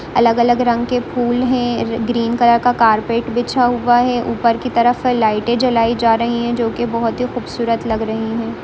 अलग अलग रंग के फूल हैं ग्रीन कलर का कारपेट बिछा हुआ हैं ऊपर की तरफ हैं लाइटे जलाई जा रही हैं जो की बहुत ही खूबसूरत लग रही हैं।